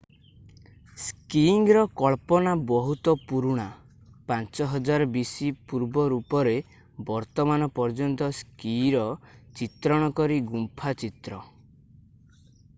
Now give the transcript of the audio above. ସ୍କିଇଙ୍ଗର କଳ୍ପନା ବହୁତ ପୁରୁଣା - 5000 bc ପୂର୍ବ ରୂପରେ ବର୍ତ୍ତମାନ ପର୍ଯ୍ୟନ୍ତ ସ୍କିଇର ଚିତ୍ରଣ କରି ଗୁମ୍ଫା ଚିତ୍ର